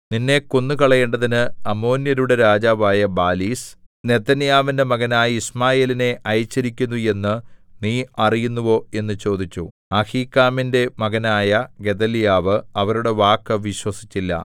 നിന്നെ കൊന്നുകളയേണ്ടതിന് അമ്മോന്യരുടെ രാജാവായ ബാലീസ് നെഥന്യാവിന്റെ മകനായ യിശ്മായേലിനെ അയച്ചിരിക്കുന്നു എന്ന് നീ അറിയുന്നുവോ എന്ന് ചോദിച്ചു അഹീക്കാമിന്റെ മകനായ ഗെദല്യാവ് അവരുടെ വാക്കു വിശ്വസിച്ചില്ല